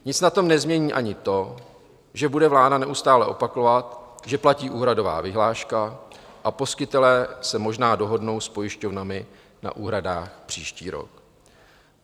Nic na tom nezmění ani to, že bude vláda neustále opakovat, že platí úhradová vyhláška a poskytovatelé se možná dohodnou s pojišťovnami na úhradách příští rok.